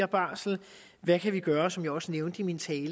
barsel og hvad vi kan gøre og som jeg også nævnte i min tale